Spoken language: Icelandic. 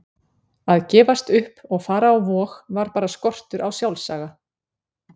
Að gefast upp og fara á Vog var bara skortur á sjálfsaga.